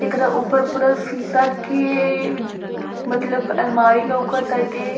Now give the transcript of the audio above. एकरा ऊपर पूरा शीशा के मतलब अलमारी लोका ताटे।